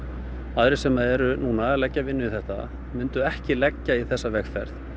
aðrir sem eru núna að leggja vinnu í þetta mundu ekki leggja í þessa vegferð